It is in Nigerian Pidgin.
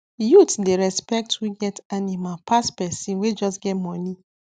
youth dey respect who get animal pass person wey just get money